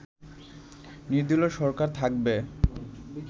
নির্দলীয় সরকার থাকবে